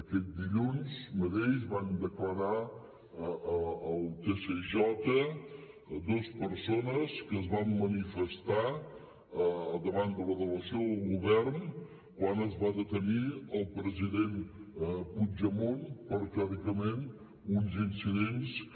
aquest dilluns mateix van declarar al tsj dos persones que es van manifestar davant de la delegació del govern quan es va detenir el president puigdemont per teòricament uns incidents que